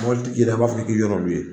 Mɔbilitigi yɛrɛ b'a fɛ k'i ɲɛ d'ɔ olu ye.